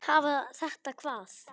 Hafa þetta hvað?